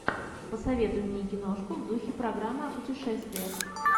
посоветуй мне киношку в духе программы о путешествиях